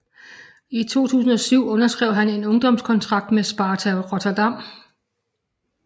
I 2007 underskrev han en ungdomskontrakt med Sparta Rotterdam